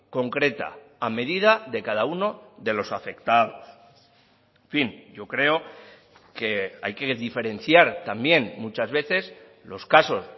concreta a medida de cada uno de los afectados en fin yo creo que hay que diferenciar también muchas veces los casos